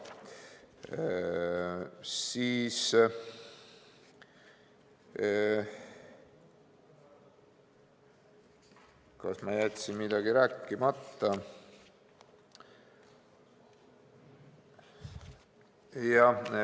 Kas ma jätsin midagi rääkimata?